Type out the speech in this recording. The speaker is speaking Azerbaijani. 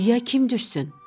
Quyuğa kim düşsün?